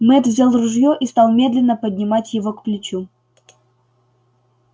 мэтт взял ружьё и стал медленно поднимать его к плечу